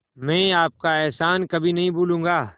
मैं आपका एहसान कभी नहीं भूलूंगा